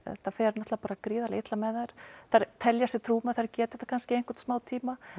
þetta fer gríðarlega illa með þær þær telja sig trú um að þær geti þetta kannski í einhvern smá tíma